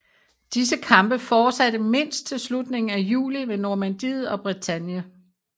Disse kampe fortsatte mindst til slutningen af juli ved Normandiet og Bretagne